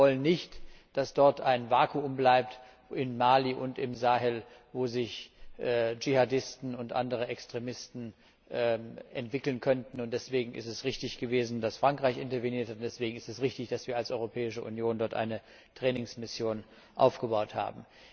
Wir wollen nicht, dass dort ein Vakuum bleibt, in Mali und im Sahel, wo sich Djihadisten und andere Extremisten entwickeln könnten, und deshalb ist es richtig gewesen, dass Frankreich interveniert hat und deswegen ist es richtig, dass wir als Europäische Union dort eine Trainingsmission aufgebaut haben.